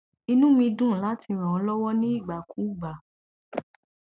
inú mi dùn láti ràn ọ lọwọ ní ìgbà kúùgbà